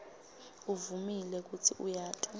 uvumile kutsi uyati